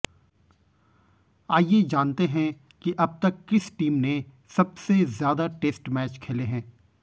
आइए जानते हैं कि अब तक किस टीम ने सबसे ज्यादा टेस्ट मैच खेले है